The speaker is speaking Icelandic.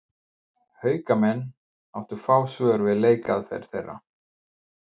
Haukamenn áttu fá svör við leikaðferð þeirra.